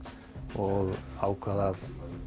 og ákvað að